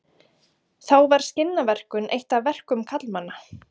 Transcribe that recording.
Þá var skinnaverkun eitt af verkum karlmanna.